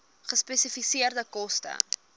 gespesifiseerde koste